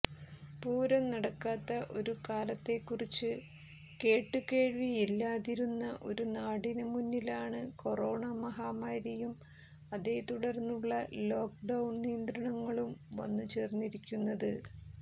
പൂരം നടക്കാത്ത ഒരു കാലത്തേക്കുറിച്ച് കേട്ടുകേഴ്വിയില്ലാതിരുന്ന ഒരു നാടിന് മുന്നിലാണ് കൊറോണ മഹാമാരിയും അതേതുടര്ന്നുള്ള ലോക്ക് ഡൌണ് നിയന്ത്രണങ്ങളും വന്നുചേര്ന്നിരിക്കുന്നത്